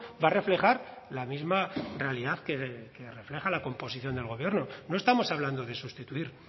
va a reflejar la misma realidad que refleja la composición del gobierno no estamos hablando de sustituir